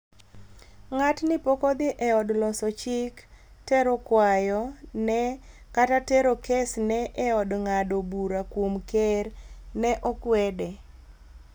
"Ng'atni poko dhi e od loso chik tero kwayo ne kata tero kes ne e od ng'ado bura kuom ker," ne okwede